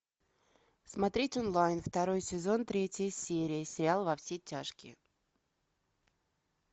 смотреть онлайн второй сезон третья серия сериал во все тяжкие